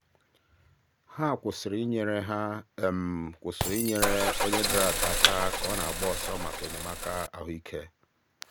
o kere ihe mkpuchi ọnụ iji chekwaba ndị mmadụ ndị mmadụ site n'anwụrụ ọkụ n'oge ọkụ ọgbụgba ahụ.